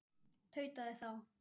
tautaði þá